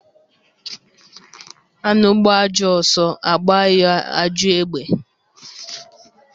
Anụ gbaa ajọ ọsọ, a gbaa ya ajọ egbe.